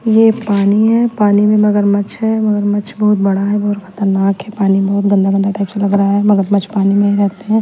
यह पानी है पानी में मगरमच्छ है मगरमच्छ बहोत बड़ा है बहोत खतरनाक है पानी बहोत गंदा गंदा टाइप से लग रहा है मगरमच्छ पानी में ही रहते है।